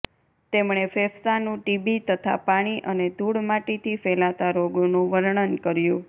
તેમણે ફેંફસાનું ટીબી તથા પાણી અને ધૂળ માટીથી ફેલાતા રોગોનું વર્ણન કર્યું